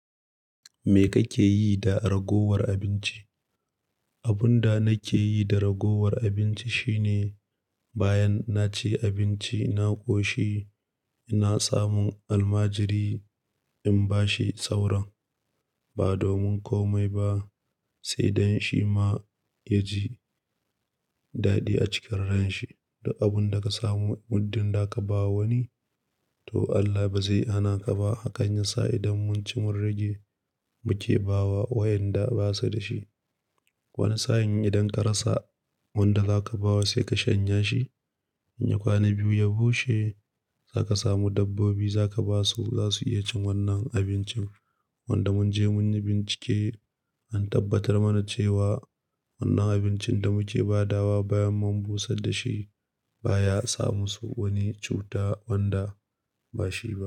Me kake yi da ragowar abinci? Abun da nake yi da ragowar abinci shine bayan naci abinci, na ƙoshi, ina samun almajiri in bashi sauran ba domin komai ba, sai dan shi ma ya ji daɗi a cikin ransa. Duk abun da ka samu, muddun da ka ba wani, to Allah ba zai hana ka ba. Hakan yasa idan mun ci mun rage muke ba wa waʼyanda basa da shi. Wani sa'in idan ka rasa wanda za ka ba wa sai ka shanya shi. In ya kwana biyu ya bushe, za ka samu dabbobi za ka basu. Zasu iya cin wannan abincin wanda mun je mun yi bincike an tabbatar mana cewa wannan abincin da muke badawa bayan mun busar da shi ba ya samu su wani cuta wanda bashiba.